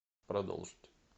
продолжить